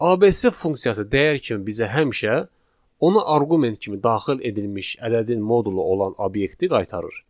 ABC funksiyası dəyər kimi bizə həmişə ona arqument kimi daxil edilmiş ədədin modulu olan obyekti qaytarır.